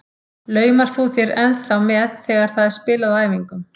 Laumar þú þér ennþá með þegar það er spilað á æfingum?